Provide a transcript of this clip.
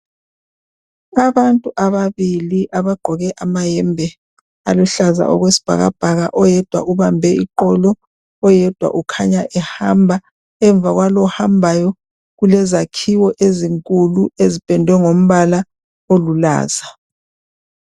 Abantu ababili abagqoke amayembe aluhlaza okwesibhakabhaka. Oyedwa uhambe iqolo, oyedwa ukhanya ehamba .Emva kwalowo ohambayo kulezakhiwo ezinkulu ezipendwe ngombala olulaza.